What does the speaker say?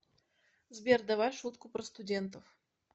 сбер давай шутку про студентов